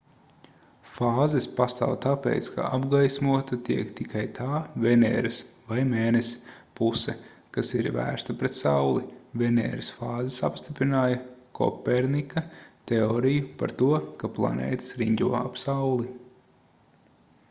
fāzes pastāv tāpēc ka apgaismota tiek tikai tā veneras vai mēness puse kas ir vērsta pret sauli. venēras fāzes apstiprināja kopernika teoriju par to ka planētas riņķo ap sauli